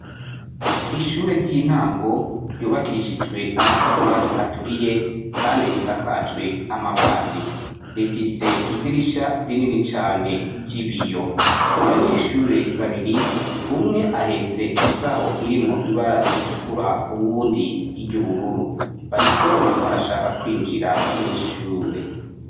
ishure ry'intango ryubakishijwe amatafari aturiye kandi risakajwe amabati rifise idirisha rinini cane ry'ibiyo abanyeshure babiri umwe ahetse isaho irimwo ibara ritukura uwundi iry'ubururu bariko barashaka kwinjira mw' ishure